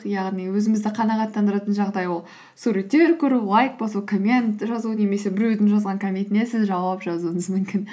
яғни өзімізді қанағаттандыратын жағдай ол суреттер көру лайк басу коммент жазу немесе біреудің жазған комментіне сіз жауап жазуыңыз мүмкін